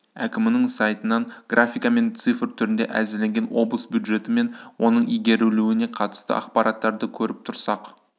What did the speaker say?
әкімінің сайтынан графика мен цифр түрінде әзірленген облыс бюджеті мен оның игерілуіне қатысты ақпараттарды көріп тұрсақ